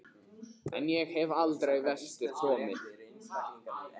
En ég hef aldrei vestur komið.